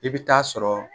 I bɛ taa sɔrɔ